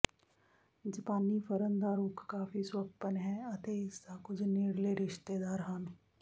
ਜਾਪਾਨੀ ਫਰਨ ਦਾ ਰੁੱਖ ਕਾਫ਼ੀ ਸੁਹੱਪਣ ਹੈ ਅਤੇ ਇਸਦਾ ਕੁਝ ਨੇੜਲੇ ਰਿਸ਼ਤੇਦਾਰ ਹਨ